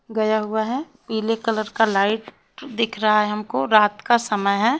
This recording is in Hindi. गया हुआ है पीले कलर का लाइट दिख रहा है हमको रात का समय है।